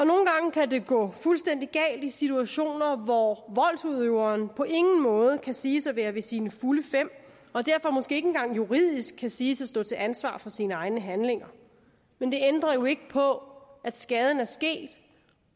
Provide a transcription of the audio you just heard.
kan det gå fuldstændig galt i situationer hvor voldsudøveren på ingen måde kan siges at være ved sine fulde fem og derfor måske ikke engang juridisk kan siges at stå til ansvar for sine egne handlinger men det ændrer ikke på at skaden er sket